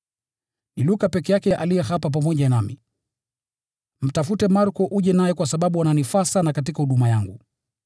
Ni Luka peke yake aliye hapa pamoja nami. Mtafute Marko uje naye kwa sababu ananifaa sana katika huduma yangu.